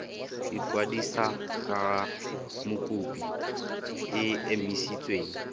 ikwadisa ga mokopi e emisitswe